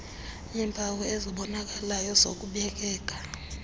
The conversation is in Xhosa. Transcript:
yeempawu ezibonakalayo zokubekeka